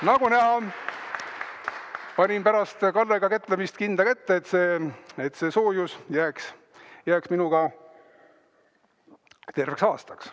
Nagu näha, panin pärast Kallega kätlemist kindla kätte, et see soojus jääks minuga terveks aastaks.